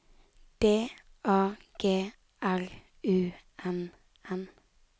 D A G R U N N